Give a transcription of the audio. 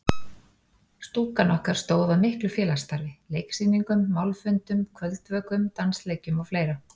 Stúkan okkar stóð að miklu félagsstarfi: Leiksýningum, málfundum, kvöldvökum, dansleikjum og fleira.